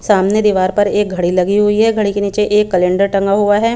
सामने दीबार पर एक घड़ी लगी हुई है घड़ी के नीचे एक कलेण्डर टेंगा हुआ है.